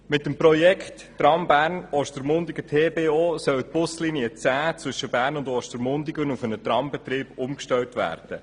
Mit dem Projekt TBO soll die Busline 10 zwischen Bern und Ostermundigen auf einen Trambetrieb umgestellt werden.